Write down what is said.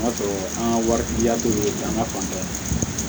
O y'a sɔrɔ an ka wari ya tɛ jamana fanfɛ